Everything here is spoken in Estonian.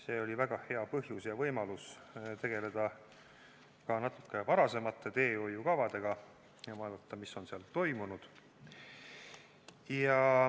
See oli väga hea põhjus ja võimalus tegeleda ka natuke varasemate teehoiukavadega ja vaadata, mis on seal toimunud.